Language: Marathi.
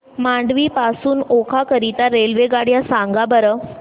मांडवी पासून ओखा करीता रेल्वेगाड्या सांगा बरं